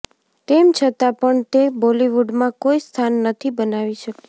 તેમ છતાં પણ તે બોલીવુડમાં કોઈ સ્થાન નથી બનાવી શકી